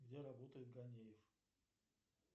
где работает ганеев